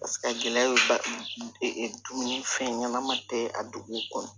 Paseke a gɛlɛya bɛ ba dun fɛn ɲanama tɛ a duguw kɔnɔ